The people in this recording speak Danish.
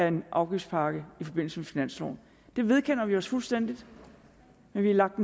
en afgiftspakke i forbindelse med finansloven det vedkender vi os fuldstændig men vi har lagt